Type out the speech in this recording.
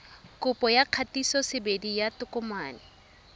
kopo ya kgatisosebedi ya tokomane